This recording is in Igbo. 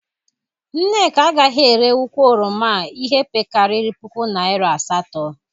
Nneka agaghị ere ukwu oroma a ihi pekarịrị puku naịra asatọ.